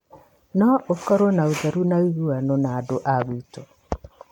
No ũkorwo na ũtheru na ũiguano na andũa gwitũ